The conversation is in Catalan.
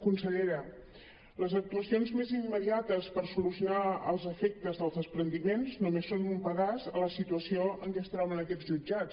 consellera les actuacions més immediates per solucionar els efectes dels despreniments només són un pedaç a la situació en què es troben aquests jutjats